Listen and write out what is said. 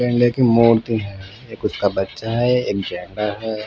गेंडे की मूर्ति है एक उसका बच्चा है एक गेंडा है.